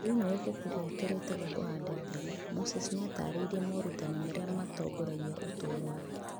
Thĩinĩ wa ibuku rĩake rĩĩtagwo Kũhanda Mbegũ, Moses nĩ ataarĩirie morutani marĩa matongoragia ũtũũro wake.